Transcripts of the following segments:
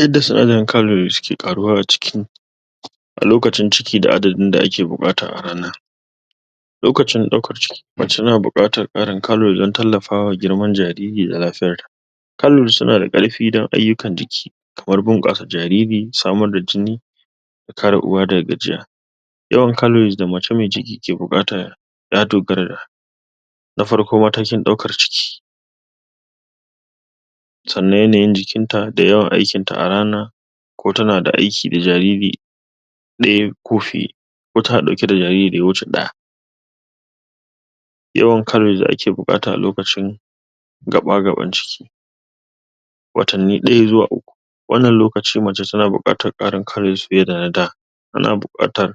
Yadda sinadarin calorie suke ƙaruwa a ciki a lokacin ciki da adadin da ake buƙata a rana. Lokacin ɗaukar ciki, mace na buƙatar ƙarin calorie don tallafawa girman jariri da lafiya. Calorie su na da ƙarfi don ayukkan jiki, kamar bunƙasa jariri, samar da jini, kare uwa daga gajiya. Yawan calories da mace mai ciki ke buƙata, ya dogara da na farko matakin ɗaukar ciki, sannan yanayin jikinta da yawan aikinta a rana, ko ta na da aiki da jariri ɗaya ko fiye, ko ta na ɗauke da jariri da wuce ɗaya. Yawan calories da ake buƙata a lokacin, gaɓa-gaɓan ciki, watanni ɗaya zuwa uku, wannan lokaci mace ta na buƙatar ƙarin calories fiye da na da, ta na buƙatar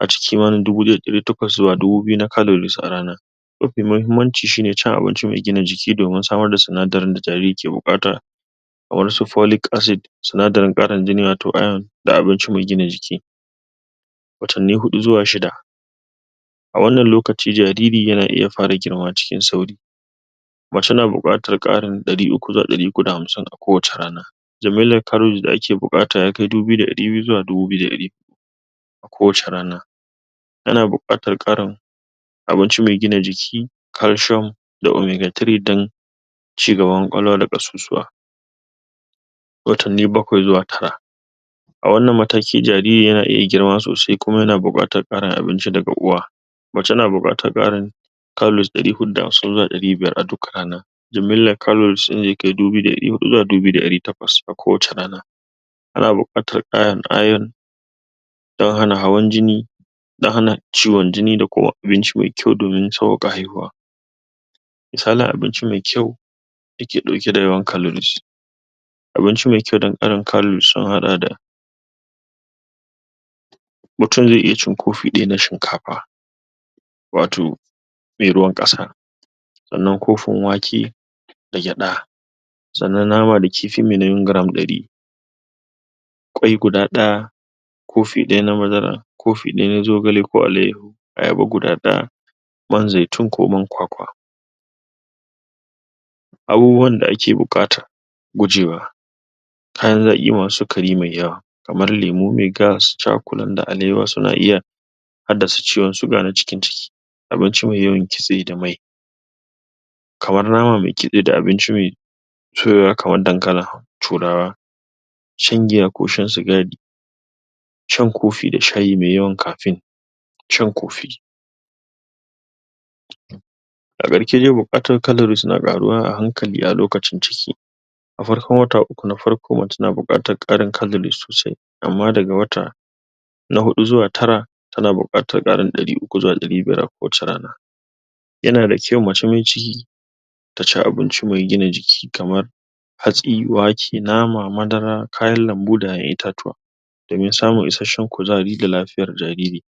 ace kimanin dubu ɗaya da ɗari takwas zuwa dubu biyu na calories a rana. Mafi mahimmanci shi ne cin abinci mai gina jiki domin samar da sinadarin da jariri ke buƙata kamar su folic acid, sinadarin ƙarin jini wato iron, da abinci mai gina jiki, watanni huɗu zuwa shida. A wannan lokaci jariri ya na iya fara girma cikin sauri. Mace na buƙatar ƙarin ɗari uku zuwa ɗari uku da hamsin kowace rana. Jimillar calories da ake buƙata ya kai dubu biyu da ɗari biyu zuwa dubu biyu da ɗari uku, kowace rana, ana buƙatar ƙarin, abinci mai gina jiki, calcium, da omega three don cigaban ƙwa- kwalwa da ƙasusuwa, watanni bakwai zuwa tara. A wannan mataki jariri ya na iya girma sosai, kuma ya na buƙatar ƙarin abinci daga uwa. Mace na buƙatar ƙarin calories ɗari huɗu da hamsin zuwa ɗari biya a rana. Jimillar calories ɗin zai kai dubu biyu da ɗari huɗu zuwa dubu biyu da ɗari takwas kowace rana. Ana buƙatar ƙarin iron don hana hawan-jini da hana ciwon jini, da kuma abinci mai kyau domin sauƙaƙa haihuwa. Misalin abinci mai kyau da ke ɗauke da yawan calories, abinci mai kyau don ƙarin calories sun haɗa da; mutum zai iya cin kofi ɗaya na shinkafa, wato, mai ruwan ƙasa, sannan kofin wake da gyaɗa, Sannan nama da kifi mai nauyin gram ɗari, ƙwai guda ɗaya, kofi ɗaya na madara, kofi ɗaya na zogale ko alayyahu, ayaba guda ɗaya, man zaitun ko man kwakwa. Abubuwan da ake buƙatar gujewa; kayan zaƙi masu sikari mai yawa, kamar lemu mai gas, cakulan na alewa, su na iya haddasa ciwon suga na cikin ciki, abinci mai yawan kitse da mai kamar nama mai kitse da abinci mai soyowa kamar dakalin turawa, shan giya ko shan sigari, shan kofi da shayi mai yawan kafe, shan kofi. A karshe dai buƙatar calories na ƙaruwa a hankali a lokacin ciki. A farkon wata uku na farko mace na buƙatar ƙarin calorie sosai, amma daga wata na huɗu zuwa tara, ta na buƙatar ƙarin uku zuwa ɗari biyar a kowace rana. Ya na da kyau mace mai ciki taci abinci mai gina jiki kamar hatsi, wake, nama, madara, kayan lambu, da ƴaƴan itatuwa, domin samun isasshen kuzari da lafiya jariri.